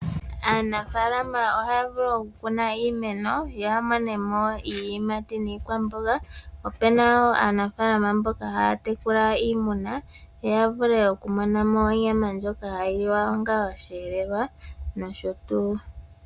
Aanafaalama ohaya vulu oku kuna iimeno yoy yo ya monemo iiyimati niikwamboga . Opuna woo aanafaalama mboka haya tekulila iimuna yo ya vule oku mona mo onyama ndjoka hayi liwa onga osheelelwa nosho tuu.